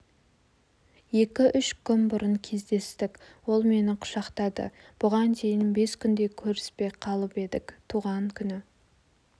екі-үш күн бұрын кездестік ол мені құшақтады бұған дейін бес күндей көріспей қалып едік туған күні